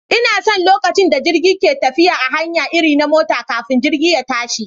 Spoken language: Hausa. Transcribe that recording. Ina son lokacin da jirgi ke tafiya a hanya irin na mota kafin jirgi ya tashi